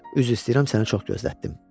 Üzr istəyirəm, səni çox gözlətdim.